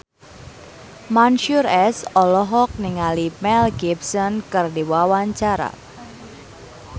Mansyur S olohok ningali Mel Gibson keur diwawancara